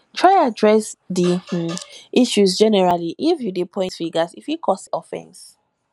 try address di um issue generally if you de point fingers e fit cause offense